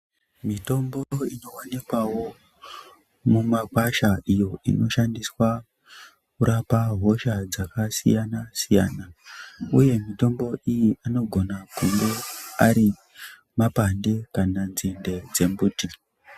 Mitombo inowanikwawo mumakwasha iyo inoshandiswa kurapa hosha dzakasiyana siyana uye mitombo iyi anoona kunge arimapande kana nzinde dzemiti.